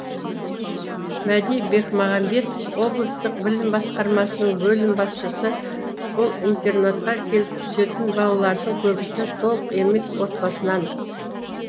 мәди бекмағамбетов облыстық білім басқармасының бөлім басшысы бұл интернатқа келіп түсетін балалардың көбісі толық емес отбасынан